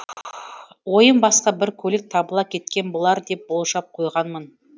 ойым басқа бір көлік табыла кеткен болар деп болжап қойғанмын